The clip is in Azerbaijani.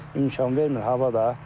İmkan vermir hava da.